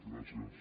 gràcies